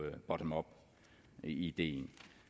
bottom up ideen